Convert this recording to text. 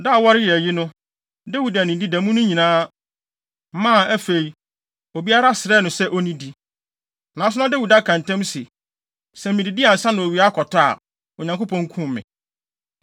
Da a wɔreyɛ ayi no, Dawid annidi da mu no nyinaa, maa afei, obiara srɛɛ no se onnidi. Nanso na Dawid aka ntam se, “Sɛ mididi ansa na owia akɔtɔ a, Onyankopɔn nkum me.”